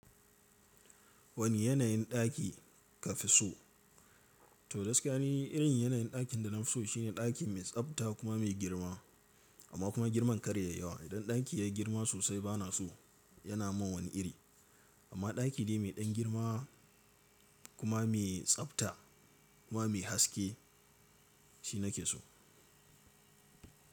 Wani yanayin ɗaki kafi so? To, gaskiya ni irin yanayin ɗakin da na fi so shine ɗaki mai tsabta kuma mai girma amma kuma girman karya yi yawa. Idan ɗaki yayi girma sosai bana so, yana man wani iri. Amma ɗaki dai mai ɗan girma kuma mai tsabta kuma mai haske shi nake so.